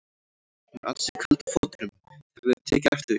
Hún er ansi köld á fótunum, þið hafið tekið eftir því?